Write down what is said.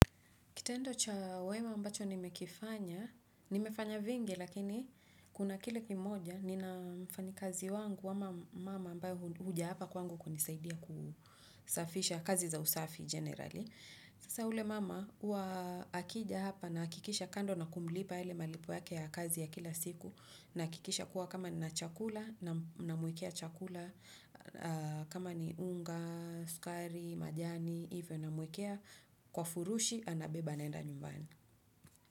Kitendo cha wema ambacho nimehi kifanya, nimefanya vingi lakini kuna kile kimoja ninamfanyikazi wangu ama mmama ambaye huja hapa kwangu kunisaidia kusafisha kazi za usafi generali. Sasa ule mama huwa akija hapa nahakikisha kando na kumlipa yale malipo yake ya kazi ya kila siku nahakikisha kuwa kama nina chakula namwekea chakula kama ni unga, sukari, majani, hivyo namwekea kwa furushi anabeba anaenda nyumbani.